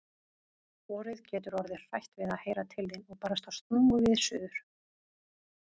Vorið getur orðið hrætt við að heyra til þín. og barasta snúið við suður.